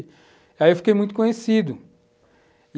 Aí eu fiquei muito conhecido.